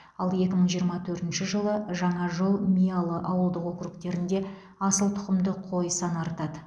ал екі мың жиырма төртінші жылы жаңажол миялы ауылдық округтерінде асыл тұқымды қой саны артады